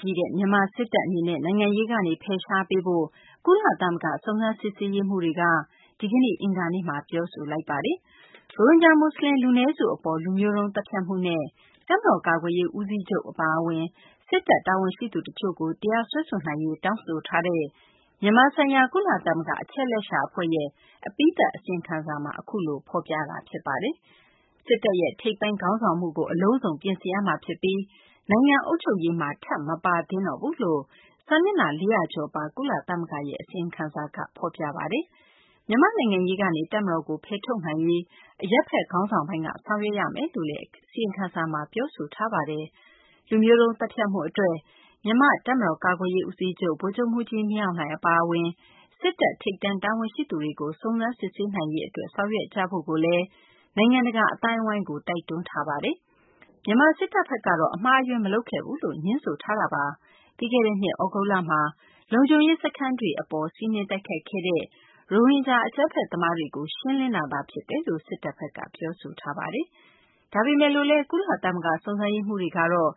ကြီးတဲ့ မြန်မာ စစ်တပ် အနေနဲ့ နိုင်ငံရေးကနေ ဖယ်ရှားပေးဖို့ ကုလသမဂ္ဂ စုံစမ်းစစ်ဆေးရေးမှူးတွေက ဒီကနေ့ အင်္ဂါနေ့မှာ ပြောဆိုလိုက်ပါတယ်။ ရိုဟင်ဂျာ မူဆလင် လူနည်းစု အပေါ် လူမျိုးတုံး သတ်ဖြတ်မှုနဲ့ တပ်မတော်ကာကွယ်ရေး ဦးစီးချုပ် အပါအဝင် စစ်တပ် တာဝန်ရှိသူတချို့ကို တရားစွဲဆိုနိုင်ရေး တောင်းဆိုထားတဲ့ မြန်မာဆိုင်ရာ ကုလသမဂ္ဂ အချက်အလက်ရှာ အဖွဲ့ရဲ့ အပြီးသတ် အစီရင်ခံစာမှာ အခုလို ပြောဆိုထားတာ ဖြစ်ပါတယ်။ စစ်တပ်ရဲ့ ထိပ်ပိုင်း ခေါင်းဆောင်မှုကို အလုံးစုံ ပြင်ဆင်ရမှာ ဖြစ်ပြီး နိုင်ငံ အုပ်ချုပ်ရေးမှာ ထပ် မပါသင့်တော့ဘူးလို့ စာမျက်နှာ ၄၀၀ ကျော်ပါ ကုလသမဂ္ဂရဲ့ အစီရင်ခံစာက ဖော်ပြတာပါ။ မြန်မာနိုင်ငံရေးကနေ တပ်မတော်ကို ဖယ်ထုတ်နိုင်ရေး အရပ်ဘက် ခေါင်းဆောင်ပိုင်းက ဆောင်ရွက်ရမယ်လို့လည်း အစီရင်ခံစာမှာ ပြောဆိုထားပါတယ်။ လူမျိုးတုံး သတ်ဖြတ်မှု အတွက် မြန်မာ တပ်မတော်ကာကွယ်ရေး ဦးစီးချုပ် ဗိုလ်ချုပ်မှူးကြီး မင်းအောင်လှိုင် အပါအဝင် စစ်တပ် ထိပ်တန်း တာဝန်ရှိသူတွေကို စုံစမ်းစစ်ဆေးနိုင်ရေး အတွက် ဆောင်ရွက်ကြဖို့လည်း နိုင်ငံတကာ အသိုင်းအဝိုင်းကို တိုက်တွန်းထားတာပါ။ မြန်မာစစ်တပ်ဘက်ကတော့ အမှားအယွင်း မလုပ်ခဲ့ဘူးလို့ ငြင်းဆိုထားပါတယ်။ ပြီးခဲ့တဲ့ ၂၀၁၇ ခုနှစ် သြဂုတ်လမှာ လုံခြုံရေး စခန်းတွေကို စီးနင်းတိုက်ခိုက်ခဲ့တဲ့ ရိုဟင်ဂျာ အကြမ်းဖက်သမားတွေကို ရှင်းလင်းတာသာ ဖြစ်တယ်လို့ မြန်မာ စစ်တပ်ဘက်က ပြောဆိုထားတာပါ။ ဒါပေမယ့် ကုလ စုံစမ်းရေးမှူးတွေကတော့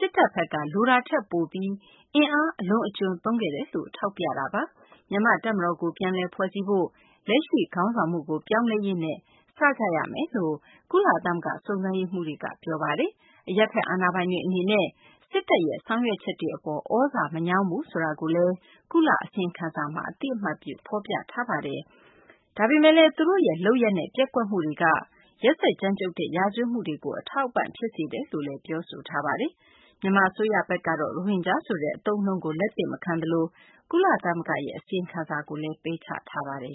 လိုအပ်တဲ့ အတိုင်းအတာထက် စစ်တပ်ဘက်က အင်အား အလွန်အကျွံသုံးခဲ့တယ်လို့ ထောက်ပြထားပါတယ်။ မြန်မာ့ တပ်မတော်ကို ပြန်လည်ဖွဲ့စည်းဖို့၊ လက်ရှိ ခေါင်းဆောင်မှုကို ပြောင်းလဲရေးနဲ့ ဒီလုပ်ငန်းစဉ်ကို စဖို့ ကုလသမဂ္ဂ စုံစမ်းရေးမှူးတွေက ပြောဆိုထားပါတယ်။ အရပ်ဘက် အာဏာပိုင်တွေ အနေနဲ့ စစ်တပ်ရဲ့ ဆောင်ရွက်ချက်တွေ အပေါ် သြဇာမညောင်းဘူးဆိုတာကိုလည်း ကုလ အစီရင်ခံစာမှာ အသိအမှတ်ပြုထားထားသလိုဘဲ သူတို့ရဲ့ လုပ်ရပ်နဲ့ ပျက်ကွက်မှုတွေက ရက်စက်ကြမ်းကြုတ်တဲ့ ရာဇဝတ်မှုတွေကို အထောက်အပံ့ ဖြစ်စေတယ်လို့လည်း ပြောဆိုထားပါတယ်။ မြန်မာ အစိုးရဘက်ကတော့ ရိုဟင်ဂျာဆိုတဲ့ အသုံးအနှုန်းကို လက်သင့်မခံသလို ကုလသမဂ္ဂရဲ့ အစီရင်ခံစာကိုလည်း ပယ်ချထားပါတယ်